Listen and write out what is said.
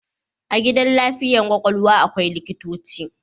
A gidan lafiyar kwakwalwa akwai likitoci